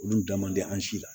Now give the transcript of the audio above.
Olu dan man di an si la